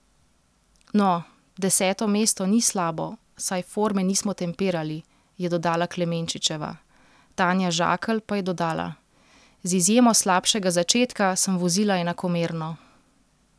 No, deseto mesto ni slabo, saj forme nismo tempirali,' je dodala Klemenčičeva, Tanja Žakelj pa je dodala: 'Z izjemo slabšega začetka sem vozila enakomerno.